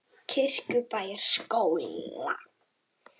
Kirkjubæjarskóla